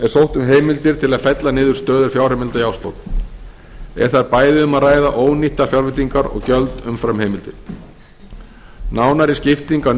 sótt um heimildir til að fella niður stöður fjárheimilda í árslok er þar bæði um að ræða ónýttar fjárveitingar og gjöld umfram heimildir nánari skipting á